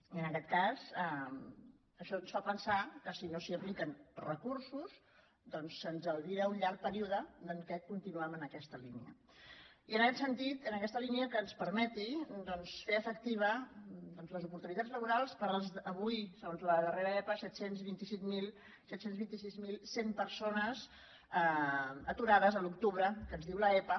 i en aquest cas això ens fa pensar que si no s’hi apliquen recursos doncs se’ns albira un llarg període en què continuem en aquesta línia i en aquest sentit en aquesta línia que ens permeti doncs fer efectives les oportunitats laborals per a les avui segons la darrera epa set cents i vint sis mil cent persones aturades a l’octubre que ens diu l’epa